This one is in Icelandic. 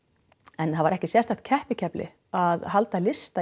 en það var ekki sérstakt keppikefli að halda lista